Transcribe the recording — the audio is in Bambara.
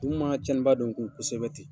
Munnu ma tiɲɛni ba don an kun kosɛbɛ ten